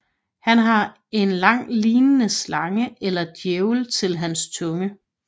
Han har en lang lignende slange eller djævel til hans tunge